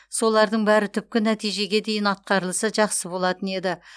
солардың бәрі түпкі нәтижеге дейін атқарылса жақсы болатын еді